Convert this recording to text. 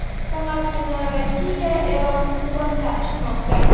Faqatgina Rossiya Eronni quvvatlab chiqmoqda.